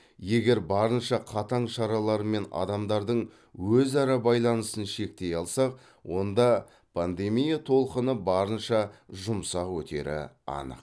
егер барынша қатаң шаралармен адамдардың өзара байланысын шектей алсақ онда пандемия толқыны барынша жұмсақ өтері анық